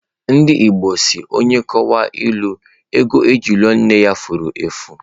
Ndị Igbo si, onye a kọwara ịlụ, ego eji lụọ nne ya fụrụ efu.